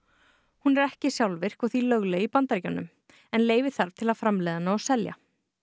hún er ekki sjálfvirk og því lögleg í Bandaríkjunum leyfi þarf til að framleiða hana og selja